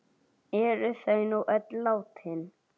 Eru þau nú öll látin.